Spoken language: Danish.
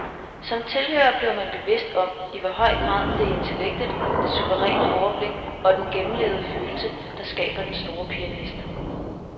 Som tilhører bliver man bevidst om, i hvor høj grad det er intellektet, det suveræne overblik og den gennemlevede følelse, der skaber den store pianist.